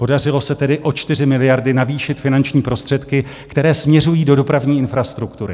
Podařilo se tedy o 4 miliardy navýšit finanční prostředky, které směřují do dopravní infrastruktury.